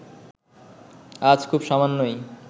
আজ খুব সামান্যই